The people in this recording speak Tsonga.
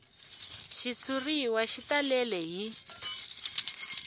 xitshuriwa xi talele hi